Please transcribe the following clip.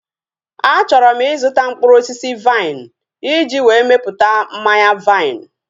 A chọrọ m ịzụta mkpụrụ osisi vaịn iji wee mepụta mmanya vaịn